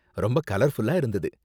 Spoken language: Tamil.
ரொம்ப கலர்ஃபுல்லா இருந்தது.